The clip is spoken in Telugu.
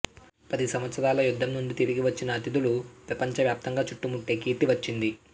పది సంవత్సరాల యుద్ధం నుండి తిరిగి వచ్చిన అతిథులు ప్రపంచవ్యాప్తంగా చుట్టుముట్టే కీర్తి వచ్చింది